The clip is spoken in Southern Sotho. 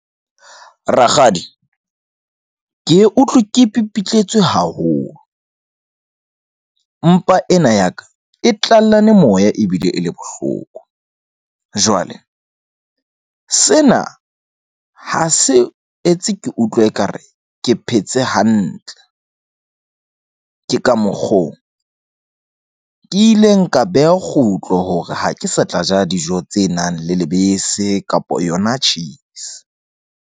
Rakgadi ke e utlwe ke pipitletswe haholo. Mpa ena ya ka e tlallane moya ebile e le bohloko. Jwale sena ha se etse, ke utlwe ekare ke phetse hantle. Ke ka mokgo ke ileng ka beha kgutlo hore ha ke sa tla ja dijo tse nang le lebese kapa yona cheese.